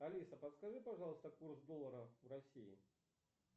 алиса подскажи пожалуйста курс доллара в россии